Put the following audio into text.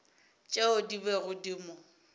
tšeo di bego di mo